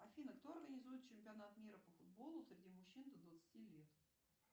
афина кто организует чемпионат мира по футболу среди мужчин до двадцати лет